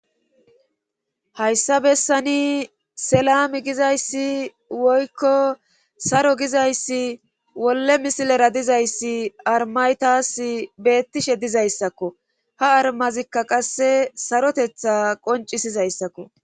Hayssa bessani selami gizayssi woykko saro gizayssi wolle misilera dizayssi armaytas beettishe dizayssakko ha armazikka qasse sarotetha qoncisizayssakko